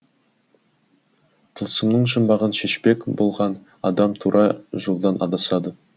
тылсымның жұмбағын шешпек болған адам тура жолдан адасады